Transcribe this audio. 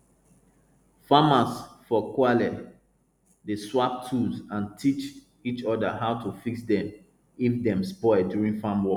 farmers for kwali dey swap tools and teach each other how to fix dem if dem spoil during farm work